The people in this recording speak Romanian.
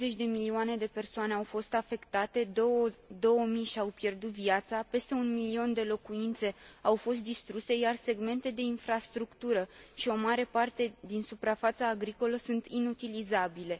20 de milioane de persoane au fost afectate, 2000 și au pierdut viața, peste 1 milion de locuințe au fost distruse, iar segmente de infrastructură și o mare parte din suprafața agricolă sunt inutilizabile.